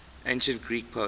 ancient greek poets